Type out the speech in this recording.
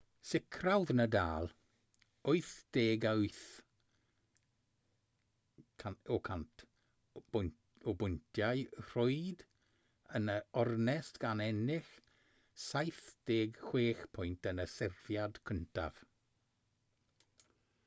sicrhaodd nadal 88% o bwyntiau rhwyd yn yr ornest gan ennill 76 pwynt yn y serfiad cyntaf